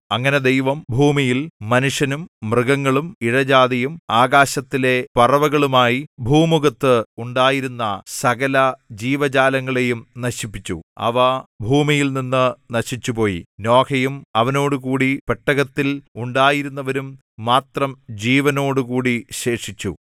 അങ്ങനെ ദൈവം ഭൂമിയിൽ മനുഷ്യനും മൃഗങ്ങളും ഇഴജാതിയും ആകാശത്തിലെ പറവകളുമായി ഭൂമുഖത്ത് ഉണ്ടായിരുന്ന സകല ജീവജാലങ്ങളെയും നശിപ്പിച്ചു അവ ഭൂമിയിൽനിന്നു നശിച്ചുപോയി നോഹയും അവനോടുകൂടി പെട്ടകത്തിൽ ഉണ്ടായിരുന്നവരും മാത്രം ജീവനോടുകൂടി ശേഷിച്ചു